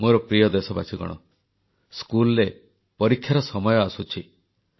ମୋର ପ୍ରିୟ ଦେଶବାସୀଗଣ ସ୍କୁଲରେ ପରୀକ୍ଷାର ସମୟ ଆସୁଛି